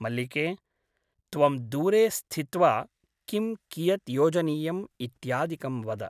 मल्लिके ! त्वं दूरे स्थित्वा किं कियत् योजनीयम् इत्यादिकं वद ।